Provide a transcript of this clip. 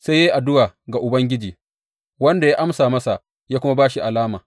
Sai ya yi addu’a ga Ubangiji, wanda ya amsa masa ya kuma ba shi alama.